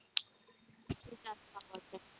ते जास्त आवडत.